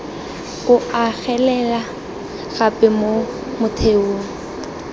o agelela gape mo motheong